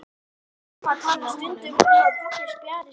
Amma talar stundum um að pabbi spjari sig ekki.